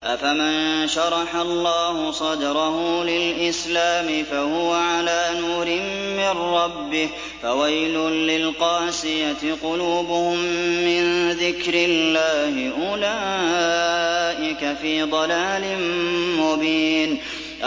أَفَمَن شَرَحَ اللَّهُ صَدْرَهُ لِلْإِسْلَامِ فَهُوَ عَلَىٰ نُورٍ مِّن رَّبِّهِ ۚ فَوَيْلٌ لِّلْقَاسِيَةِ قُلُوبُهُم مِّن ذِكْرِ اللَّهِ ۚ أُولَٰئِكَ فِي ضَلَالٍ مُّبِينٍ